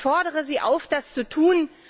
Ich fordere Sie auf, das zu tun!